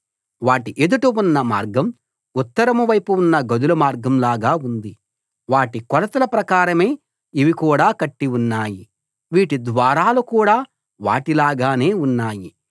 వాటి ఎదుట ఉన్న మార్గం ఉత్తరం వైపు ఉన్న గదుల మార్గం లాగా ఉంది వాటి కొలతల ప్రకారమే ఇవి కూడా కట్టి ఉన్నాయి వీటి ద్వారాలు కూడా వాటి లాగానే ఉన్నాయి